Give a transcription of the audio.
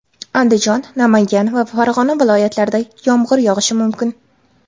Andijon, Namangan va Farg‘ona viloyatlarida yomg‘ir yog‘ishi mumkin.